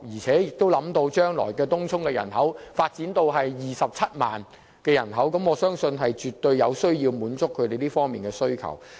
考慮到東涌的人口將會增加至27萬人，當局絕對有必要滿足區內居民這方面的需求。